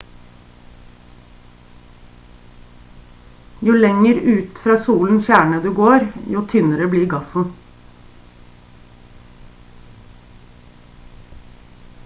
jo lenger ut fra solens kjerne du går jo tynnere blir gassen